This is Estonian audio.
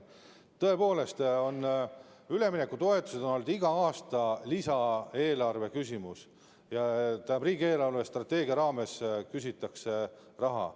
Tõepoolest, üleminekutoetus on olnud iga aasta lisaeelarve küsimus, st riigi eelarvestrateegia raames küsitakse raha.